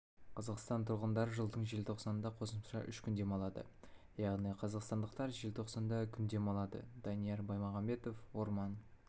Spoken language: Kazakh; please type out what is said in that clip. қазақстан тұрғындары жылдың желтоқсанында қосымша үш күн демалады яғни қазақстандықтар желтоқсанда күн демалады данияр баймағамбетов орман